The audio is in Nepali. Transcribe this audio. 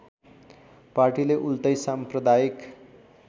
पार्टीले उल्टै साम्प्रदायिक